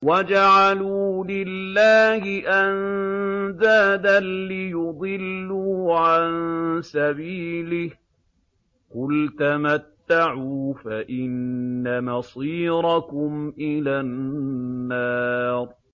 وَجَعَلُوا لِلَّهِ أَندَادًا لِّيُضِلُّوا عَن سَبِيلِهِ ۗ قُلْ تَمَتَّعُوا فَإِنَّ مَصِيرَكُمْ إِلَى النَّارِ